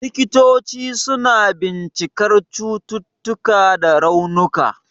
Likitoci suna bincikar cututtuka da raunuka.